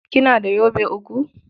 Kina da yobe uku?